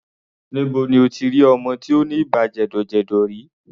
Níbo ni o ti rí ọmọ tí ó ní ibà jẹ̀dọ̀jẹ̀dọ̀ rí?